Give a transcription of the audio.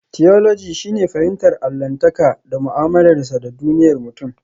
Tiyoloji shine fahimtar allahntaka da mu'amalarsa da duniyar mutum.